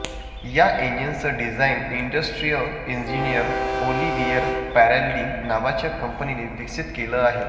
या इंजिनचं design industrial engineer Olivier Peraldi नावाच्या कंपनीने विकसित केलं आहे